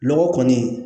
Lɔgɔ kɔni